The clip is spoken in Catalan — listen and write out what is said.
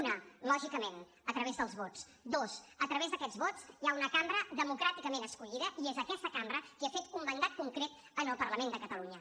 una lògicament a través dels vots dues a través d’aquests vots hi ha una cambra democràticament escollida i és aquesta cambra qui ha fet un mandat concret al parlament de catalunya